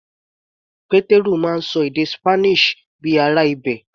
Pétérù máa ń ṣọ èdè Spanish bíi ará ibẹ̀.